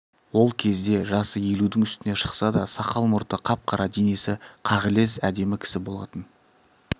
ол кезде жасы елудің үстіне шықса да сақал-мұрты қап-қара денесі қағілез әдемі кісі болатын